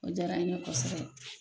O jaara in ye kosɛbɛ.